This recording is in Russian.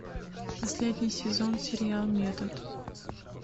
последний сезон сериал метод